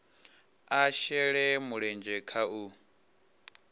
a shele mulenzhe kha u